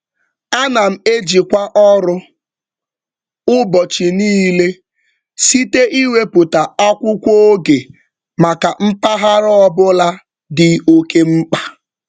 Ana m ejikwa ọrụ ụbọchị niile site ịwepụta akwụkwọ oge maka mpaghara ọbụla dị oke mkpa.